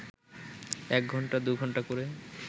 এক ঘণ্টা দু ঘণ্টা ক’রে